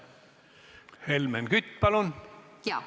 Helmen Kütt, palun!